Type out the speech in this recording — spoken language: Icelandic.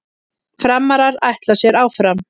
Framarar ætla sér áfram